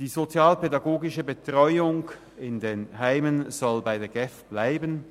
Die sozialpädagogische Betreuung – in den Heimen – soll bei der GEF bleiben.